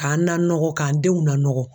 K'an nanɔgɔ k'an denw nanɔgɔ